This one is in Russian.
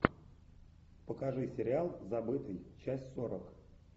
покажи сериал забытый часть сорок